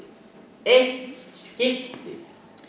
eitt skipti